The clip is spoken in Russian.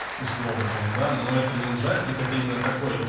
условно там да но это не ужастик это именно такой